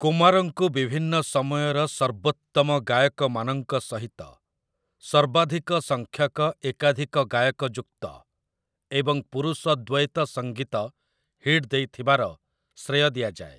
କୁମାରଙ୍କୁ ବିଭିନ୍ନ ସମୟର ସର୍ବୋତ୍ତମ ଗାୟକମାନଙ୍କ ସହିତ ସର୍ବାଧିକ ସଂଖ୍ୟକ ଏକାଧିକ ଗାୟକ ଯୁକ୍ତ ଏବଂ ପୁରୁଷ ଦ୍ଵୈତସଙ୍ଗୀତ ହିଟ୍ ଦେଇଥିବାର ଶ୍ରେୟ ଦିଆଯାଏ ।